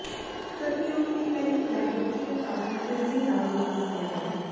ਕਰਕੇ ਉਸ ਦੀ ਪਹਿਲੀ ਕੈਪ ਬੱਚੇ ਨੂੰ ਕਾਫ਼ੀ ਤੇਜ਼ੀ ਨਾਲ ਵਿਕਾਸ ਕਰੇਗਾ